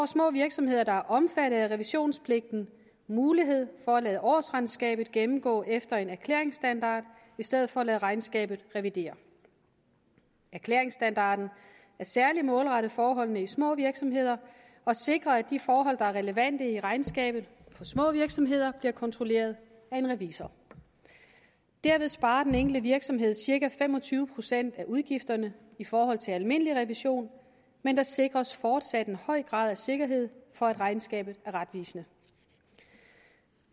små virksomheder der er omfattet af revisionspligten mulighed for at lade årsregnskabet gennemgå efter en erklæringsstandard i stedet for at lade regnskabet revidere erklæringsstandarden er særlig målrettet forholdene i små virksomheder og sikrer at de forhold der er relevante i regnskabet for små virksomheder bliver kontrolleret af en revisor derved sparer den enkelte virksomhed cirka fem og tyve procent af udgifterne i forhold til almindelig revision men der sikres fortsat en høj grad af sikkerhed for at regnskabet er retvisende